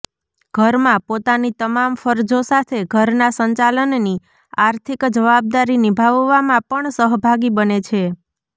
ઘરમાં પોતાની તમામ ફરજો સાથે ઘરના સંચાલનની આર્થિક જવાબદારી નિભાવવામાં પણ સહભાગી બને છે